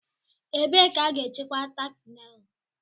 ebe ka a ga-echekwa tákị nélù